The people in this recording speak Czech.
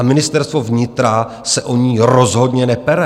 A Ministerstvo vnitra se o ni rozhodně nepere.